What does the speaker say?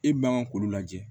E man kan k'olu lajɛ